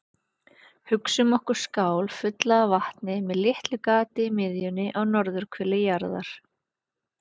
Hugsum okkur skál fulla af vatni með litlu gati í miðjunni á norðurhveli jarðar.